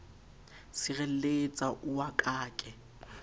sirelletsa o wa ka ke